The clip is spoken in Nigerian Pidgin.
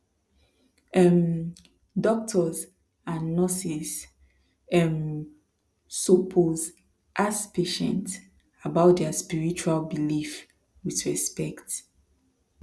um doctors and nurses um suppose ask patient about their spiritual belief with respect